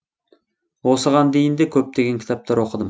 осыған дейін де көптеген кітаптар оқыдым